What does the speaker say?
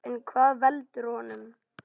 En hvað veldur honum?